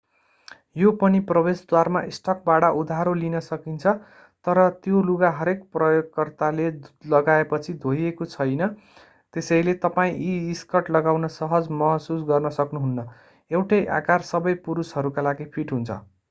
यो पनि प्रवेशद्वारमा स्टकबाट उधारो लिन सकिन्छ तर त्यो लुगा हरेक प्रयोगकर्ताले लगाएपछि धोइएको छैन त्यसैले तपाईं यी स्कर्ट लगाउन सहज महसुस गर्न सक्नुहुन्न एउटै आकार सबै पुरुषहरूका लागि फिट हुन्छ